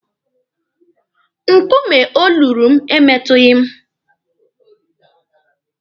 Nkume o luru m emetụghị m.